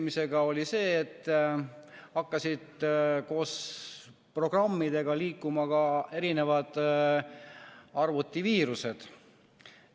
Üks neist oli see, et koos programmidega hakkasid liikuma arvutiviirused.